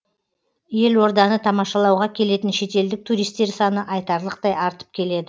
елорданы тамашалауға келетін шетелдік туристер саны айтарлықтай артып келеді